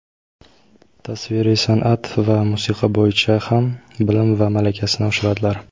tasviriy sanʼat va musiqa bo‘yicha ham bilim va malakasini oshiradilar.